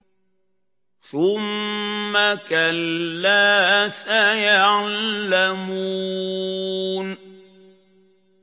ثُمَّ كَلَّا سَيَعْلَمُونَ